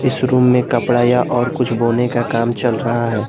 इस रूम में कपड़ा या और कुछ बोने का काम चल रहा है।